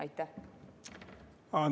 Aitäh!